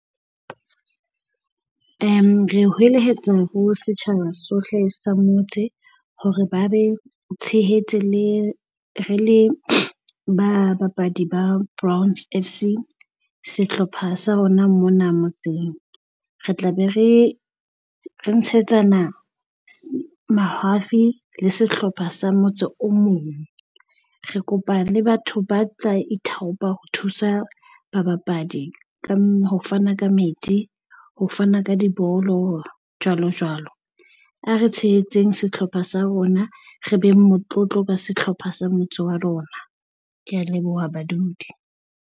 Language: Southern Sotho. Re hwelehetsa ho setjhaba sohle sa motse hore ba be tshehetse le re le babapadi ba Browns F_C Sehlopha sa rona mona motseng. Re tla be re re ntshetsana mahafi le sehlopha sa motse o mong. Re kopa le batho ba tla ithaopa ho thusa babapadi ka ho fana ka ka metsi, ho fana ka dibolo, jwalo jwalo. A re tshehetseng sehlopha sa rona re beng motlotlo ka sehlopha sa motse wa rona. Kea leboha badudi.